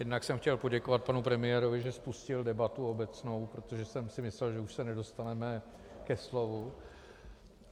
Jednak jsem chtěl poděkovat panu premiérovi, že spustil debatu obecnou, protože jsem si myslel, že už se nedostaneme ke slovu.